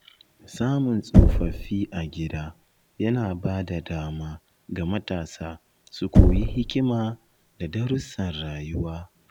Samun tsofaffi a gida yana ba da dama ga matasa su koyi hikima da darussan rayuwa.